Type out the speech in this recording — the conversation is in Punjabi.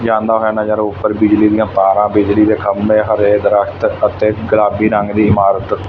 ਜਾਂਦਾ ਹੋਇਆ ਨਜ਼ਰ ਆਓ ਉਪਰ ਬਿਜਲੀ ਦੀਆਂ ਤਾਰਾ ਬਿਜਲੀ ਦੇ ਖੰਬੇ ਹਰੇ ਦਰਖਤ ਅਤੇ ਗੁਲਾਬੀ ਰੰਗ ਦੀ ਇਮਾਰਤ--